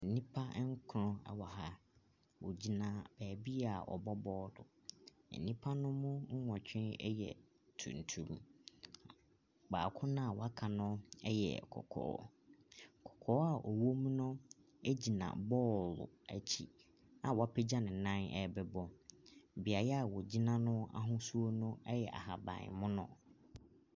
Nipa ɛnkrɔn ɛwɔ aha, wogyina bɛɛbia wɔbɔ bɔɔlu. Enipa no mu wɔtwi ɛyɛ tuntum. Baako naa waka no ɛyɛ kɔkɔɔ. Kɔkɔɔ a ɔwom no egyina bɔɔlu etsi a wapɛgya nenan ɛɛbɛbɔ. Biaɛ a wogyina no ahusuo ɛyɛ ahabanmunu.